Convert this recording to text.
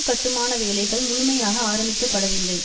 கட்டுமான வேலைகள் முழுமையாக ஆரம்பிக்கப்படவில்லை